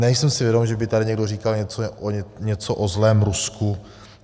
Nejsem si vědom, že by tady někdo říkal něco o zlém Rusku.